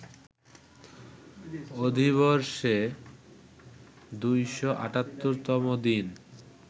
অধিবর্ষে ২৭৮ তম দিন